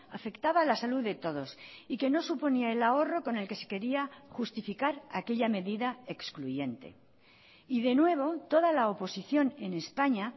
afectaba a la salud de todos y que no suponía el ahorro con el que se quería justificar aquella medida excluyente y de nuevo toda la oposición en españa